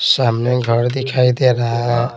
सामने घर दिखाई दे रहा है।